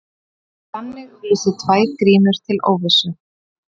Þannig vísi tvær grímur til óvissu.